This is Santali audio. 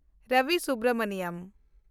ᱨᱚᱵᱤ ᱥᱩᱵᱽᱨᱚᱢᱚᱱᱤᱭᱚᱱ